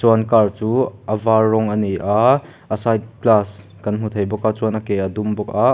chuan car chu a var rawng ani a a side glass kan hmu thei bawk a chuan a ke a dum bawk a.